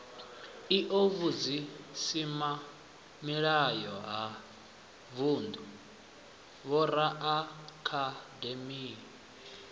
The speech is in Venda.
io vhusimamilayo ha vundu vhoraakademi